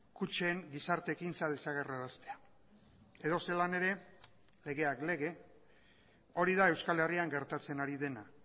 kutxen gizarte ekintza desagerraraztea edozelan ere legeak lege hori da euskal herrian gertatzen ari dena